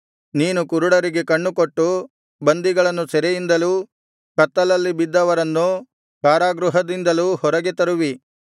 ನೀನು ಕುರುಡರಿಗೆ ಕಣ್ಣುಕೊಟ್ಟು ಬಂದಿಗಳನ್ನು ಸೆರೆಯಿಂದಲೂ ಕತ್ತಲಲ್ಲಿ ಬಿದ್ದವರನ್ನು ಕಾರಾಗೃಹದಿಂದಲೂ ಹೊರಗೆ ತರುವಿ